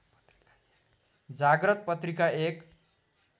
जाग्रत पत्रिका एक